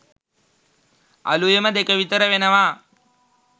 අලුයම දෙක විතර වෙනවා.